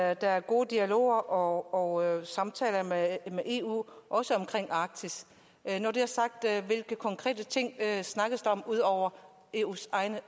at der er gode dialoger og samtaler med eu omkring arktis hvilke konkrete ting snakkes der om udover eus egen